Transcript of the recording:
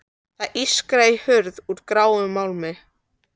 Það ískraði í hurð úr gráum málmi.